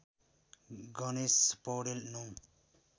Ganesh Paudel ९